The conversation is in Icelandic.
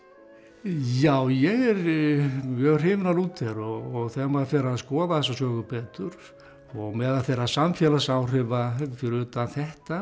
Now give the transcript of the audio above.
já ég er mjög hrifinn af Lúther og þegar maður fer að skoða þessa sögu betur og meðal þeirra samfélagsáhrifa fyrir utan þetta